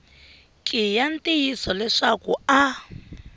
ki ya ntiyiso leswaku a